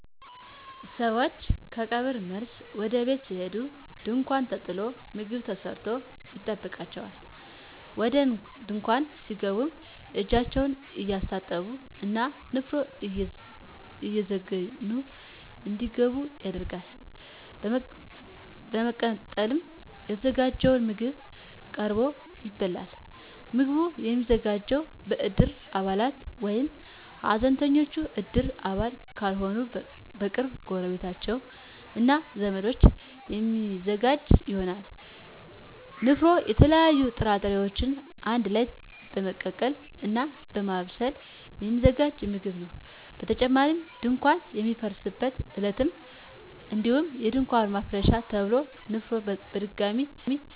ሰወች ከቀብር መልስ ወደ ቤት ሲሄዱ ድንኳን ተጥሎ ምግብ ተሰርቶ ይጠብቃቸዋል። ወደ ድንኳን ሲገቡም እጃቸውን እየታጠቡ እና ንፍሮ እየዘገኑ እንዲገቡ ይደረጋል። በመቀጠልም የተዘጋጀው ምግብ ቀርቦ ይበላል። ምግቡ የሚዘጋጀው በእድር አባላት ወይም ሀዘንተኞች እድር አባል ካልሆኑ በቅርብ ጎረቤቶች እና ዘመዶች የሚዘጋጅ ይሆናል። ንፍሮ የተለያዩ ጥራጥሬወችን አንድ ላይ በመቀቀል እና በማብሰል የሚዘጋጅ ምግብ ነው። በተጨማሪም ድንኳን በሚፈርስበት ዕለትም እንዲሁ የድንኳን ማፍረሻ ተብሎ ንፍሮ በድጋሚ ይዘጋጃል።